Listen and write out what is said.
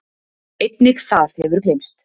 Einnig það hefur gleymst.